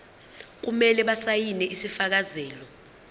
kumele basayine isifakazelo